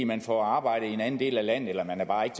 man får arbejde i en anden del af landet eller man bare ikke